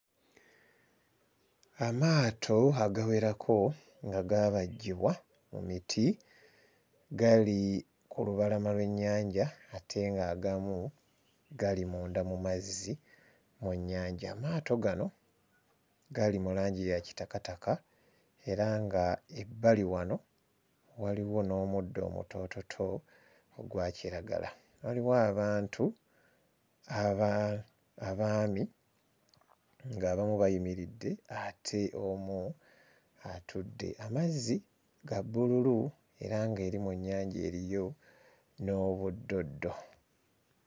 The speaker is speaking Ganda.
Amaato agawerako nga gaabajjibwa mu miti gali ku lubalama lw'ennyanja ate ng'agamu gali munda mu mazzi mu nnyanja. Amaato gano gali mu langi ya kitakataka era ng'ebbali wano waliwo n'omuddo omutoototo ogwa kiragala. Waliwo abantu aba... abaami ng'abamu bayimiridde ate omu atudde; amazzi ga bbululu era ng'eri mu nnyanja eriyo n'obuddoddo.